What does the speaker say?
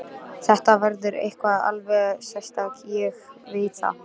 Þetta verður eitthvað alveg sérstakt, ég veit það.